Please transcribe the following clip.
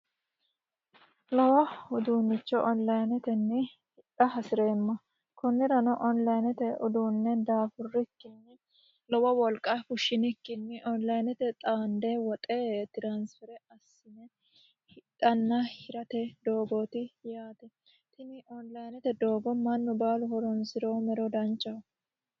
Lowo uduuncho onlinetenni hidha hasireemma konirano onlinete uduune daafurikkinni lowo wolqa fushinikkinni onlinete xaande woxe transfer assine hidhanna hirate doogoti yaate tini onlinete doogo mannu baallunku horonsiromero danchaho.